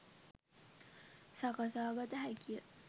සකසාගත හැකිය.